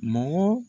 Mɔgɔ